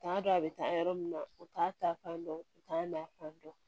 U t'a dɔn a bɛ taa yɔrɔ min na u t'a ta fan dɔn u t'a na fan dɔn